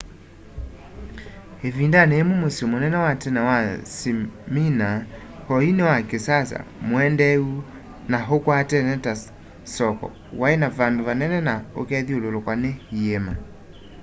ivindani yimwe musyi munene wa tene wa smyrna oyu ni wa kisasa muendeeu na ukwatene ta soko wai na vandu vanene na ukethyululukwa ni iíma